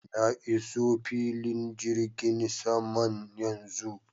Na iso filin jirgin saman yanzu.